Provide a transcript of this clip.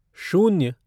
शून्य